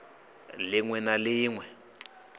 lin we na lin we